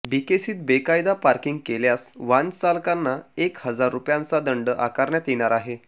बीकेसीत बेकायदा पार्किंग केल्यास वाहनचालकांना एक हजार रुपयांचा दंड आकारण्यात येणार आहे